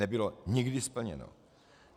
Nebylo nikdy splněno.